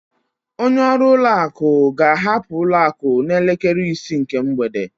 Onye ọrụ ụlọ akụ ga-ahapụ ụlọ akụ n'elekere isii nke mgbede.